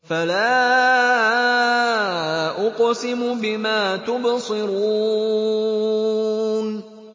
فَلَا أُقْسِمُ بِمَا تُبْصِرُونَ